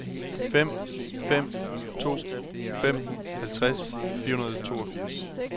fem fem to fem halvtreds fire hundrede og toogfirs